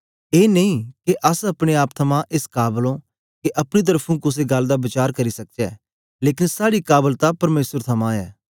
ए नेई के अस अपने आप थमां एस काबल ओ के अपनी तरफुं कुसे गल्ल दा वचार करी सकचै लेकन साड़ी काबलता परमेसर थमां ऐ